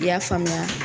I y'a faamuya